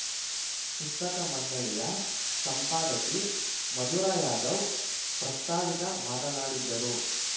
ಪುಸ್ತಕ ಮಂಡಳಿಯ ಸಂಪಾದಕಿ ಮಧುರಾ ಯಾದವ್‌ ಪ್ರಸ್ತಾವಿಕ ಮಾತನಾಡಿದ್ದರು